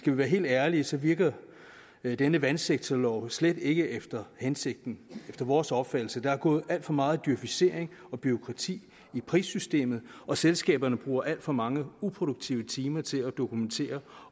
vi være helt ærlige så virker denne vandsektorlov slet ikke efter hensigten efter vores opfattelse der er gået alt for meget djøfisering og bureaukrati i prissystemet og selskaberne bruger alt for mange uproduktive timer til at dokumentere